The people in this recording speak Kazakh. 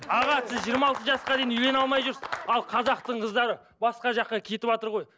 аға сіз жиырма алты жасқа дейін үйлене алмай жүрсіз ал қазақтың қыздары басқа жаққа кетіватыр ғой